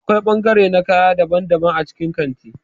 Akwai bangare na kaya daban-daban a cikin kanti.